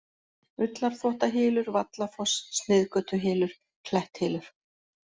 Ullarþvottahylur, Vallafoss, Sniðgötuhylur, Kletthylur